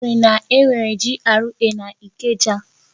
Ọ sịrị na enwere GRA n'Ikeja.